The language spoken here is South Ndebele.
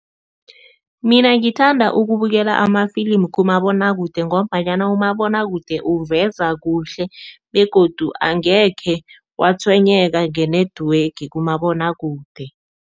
Mina ngithanda ukubukela amafilimu kumabonwakude ngombanyana umabonwakude uveza kuhle begodu angekhe watshwenyeka nge-network kumabonwakude.